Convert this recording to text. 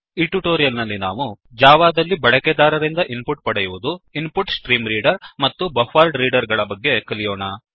ಈ ಟ್ಯುಟೋರಿಯಲ್ ನಲ್ಲಿ ನಾವು ಜಾವಾ ದಲ್ಲಿ ಬಳಕೆದಾರರಿಂದ ಇನ್ ಪುಟ್ ಪಡೆಯುವುದು InputStreamReader input stream reader ಮತ್ತು ಬಫರೆಡ್ರೀಡರ್ ಬಫ್ಫರ್ಡ್ ರೀಡರ್ ಗಳ ಬಗ್ಗೆ ಕಲಿಯೋಣ